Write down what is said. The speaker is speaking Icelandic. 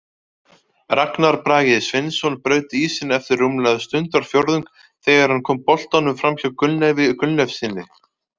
Ragnar Bragi Sveinsson braut ísinn eftir rúmlega stundarfjórðung þegar hann kom boltanum framhjá Gunnleifi Gunnleifssyni.